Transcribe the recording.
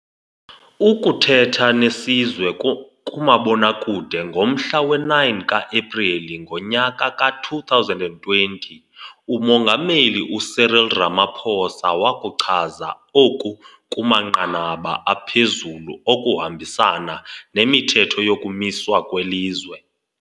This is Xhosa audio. Ukuthetha nesizwe kumabonakude ngomhla we-9 ka-Epreli ngonyaka ka-2020 uMongameli u-Cyril Ramaphosa wakuchaza oku kumanqanaba aphezulu okuhambisana nemithetho yokumiswa kwelizwe.